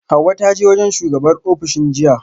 Hauwa ta je wajen shugabar ofishin jiya